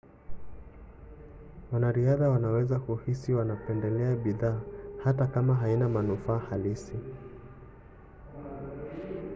wanariadha wanaweza kuhisi wanapendelea bidhaa hata kama haina manufaa halisi